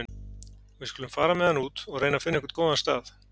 Við skulum fara með hann út og reyna að finna einhvern góðan stað.